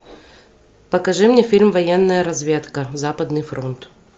покажи мне фильм военная разведка западный фронт